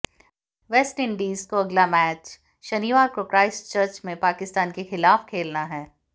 West Indies को अगला match शनिवार को क्राइस्टचर्च में पाकिस्तान के खिलाफ खेलना है